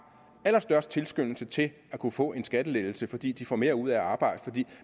allerstørst tilskyndelse til at kunne få en skattelettelse fordi de får mere ud af at arbejde og fordi